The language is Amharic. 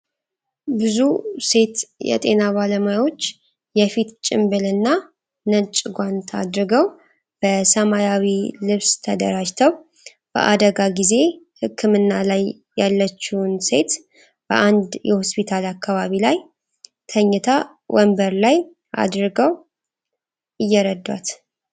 ብዙ ሴት የጤና ባለሙያዎች የፊት ጭንብልና ነጭ ጓንት አድርገው በሰማያዊ ልብስ ተደራጅተው በአደጋ ጊዜ ህክምና ላይ ያለችውን ሴት በአንድ የሆስፒታል አካባቢ ላይ ተኝታ ወንበር ላይ አዲርገው እየረዳት።